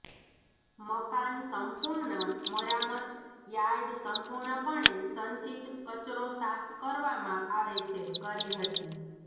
મકાન સંપૂર્ણ મરામત યાર્ડ સંપૂર્ણપણે સંચિત કચરો સાફ કરવામાં આવે છે કરી હતી